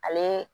Ale